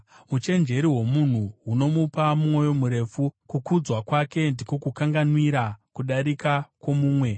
Uchenjeri hwomunhu hunomupa mwoyo murefu; kukudzwa kwake ndiko kukanganwira kudarika kwomumwe.